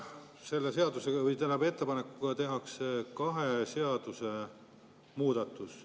Selle seadusega, tähendab, ettepanekuga tehakse kahes seaduses muudatus.